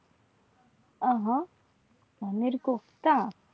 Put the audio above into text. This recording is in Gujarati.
આ હા પનીર કોફ્તા